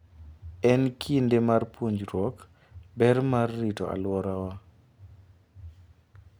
En kinde mar puonjruok ber mar rito alworawa.